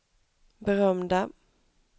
berömda